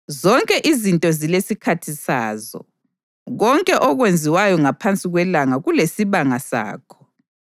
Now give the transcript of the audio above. Zonke izinto zilesikhathi sazo, konke okwenziwayo ngaphansi kwelanga kulesibanga sakho: